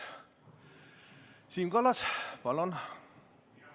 Siim Kallas, palun!